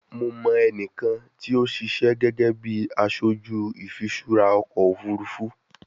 Mo mọ ẹnikan ti o sise gege bi aṣoju ifiṣura ọkọ ofurufu